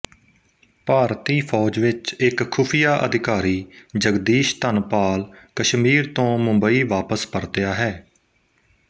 ਭਾਰਤੀ ਫੌਜ ਵਿੱਚ ਇੱਕ ਖੁਫੀਆ ਅਧਿਕਾਰੀ ਜਗਦੀਸ਼ ਧਨਪਾਲ ਕਸ਼ਮੀਰ ਤੋਂ ਮੁੰਬਈ ਵਾਪਸ ਪਰਤਿਆ ਹੈ